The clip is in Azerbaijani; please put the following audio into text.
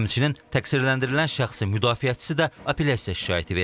Həmçinin təqsirləndirilən şəxsi müdafiəçisi də apellyasiya şikayəti verib.